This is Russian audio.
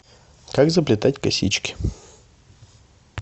как заплетать косички